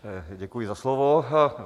Děkuji za slovo.